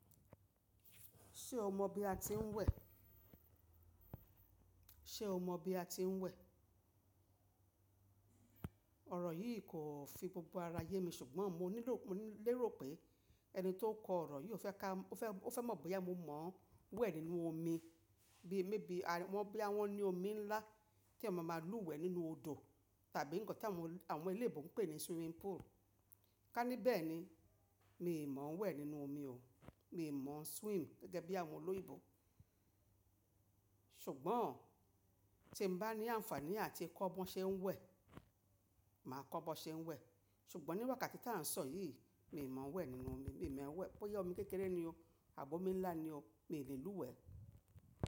Ṣé o mọ bí a ti ń wẹ̀? Ṣé o mọ bí a ti ń wẹ̀? Ọ̀rọ̀ yìí kò fi gbogbo ara yé mi ṣùgbọ́n mo nílò, mo lérò pé ẹni tó ń kọ ọ̀rọ̀ yii ò fẹ́ ká, ó fẹ́, ó fẹ́ mọ̀ bóyá mo mọ̀ wẹ̀ nínú omi bíi maybe a, wọ́n bóyá wọn ní omi ńlá tí èyán ma máa lú wẹ̀ nínú odò tàbí nǹkan tí àwọn, àwọn olòyìnbó ń pè ní swimming pool. Ká ní bẹ́ẹ̀ ni, mi ò mọ̀ wẹ̀ nínú omi o. Mi ò mọ̀ swim gẹ́gẹ́ bí àwọn olóyinbo. Ṣùgbọ́n tí n bá ní àǹfààní áti kọ́ bọ ṣe ń wẹ̀, màá kọ́ bọ ṣe ń wẹ̀. Ṣùgbọ́n níwájú kàtí tí à ń sọ̀ yìí, mi ò mọ̀ wẹ̀ nínú omi, mi ò mọ̀ wẹ̀ bóyá omi kékeré nì o àbo omi ńlá ni o, mi ò lè lú wẹ̀